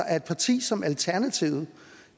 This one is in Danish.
at et parti som alternativet